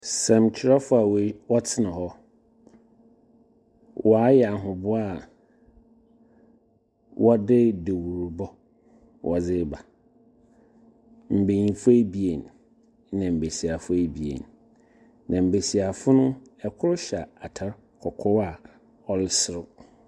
Nsɛmtwerɛfo a wɔtena hɔ. Wɔayɛ ahoboa a wɔde dewurubɔ wɔdze reba. Mbenyinfo ebien na mbesiafo ebien. Na mbesiafo no. kor hyɛ atar kɔkɔɔ a ɔreserew.